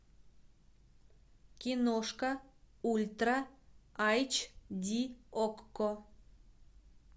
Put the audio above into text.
киношка ультра айч ди окко